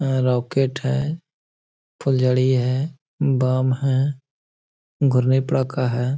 rocket है फुलझड़ी है बम है है |